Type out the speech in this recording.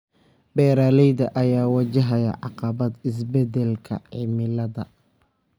Beeralayda ayaa wajahaya caqabadaha isbeddelka cimilada.